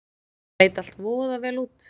Leit allt voða vel út.